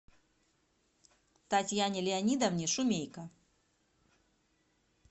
татьяне леонидовне шумейко